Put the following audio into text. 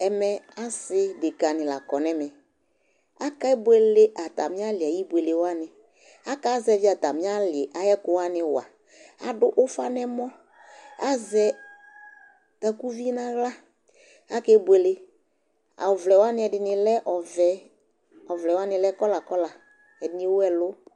Ɛmɛ asɩ dekǝnɩ la kɔ nʋ ɛmɛ Akebuele atamɩ alɩ ayʋ ibuele wanɩ Akazɛvɩ atamɩ alɩ ayʋ ɛkʋ wanɩ wa Adʋ ʋfa nʋ ɛmɔ, azɛ takuvi nʋ aɣla Akebuele, ɔvlɛ wanɩ ɛdɩnɩ lɛ ɔvɛ, ɔvlɛ wanɩ lɛ kɔla kɔla Ɛdɩnɩ ewu ɛlʋ